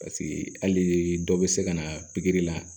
Paseke hali dɔ bɛ se ka na pikiri la